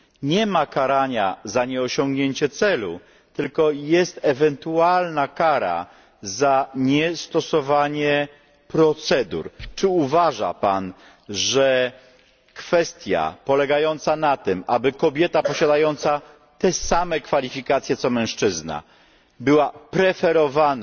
Nie ma karania za nieosiągnięcie celu, tylko jest ewentualna kara za niestosowanie procedur. Czy uważa Pan, że kwestia polega na tym, aby kobieta posiadająca te same kwalifikacje co mężczyzna była preferowana